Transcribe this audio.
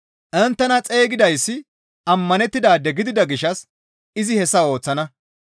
Inttena xeygidayssi ammanettidaade gidida gishshas izi hessa ooththana.